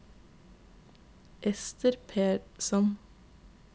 Ester Persson